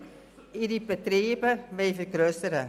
Sie wollen also ihre Betriebe vergrössern.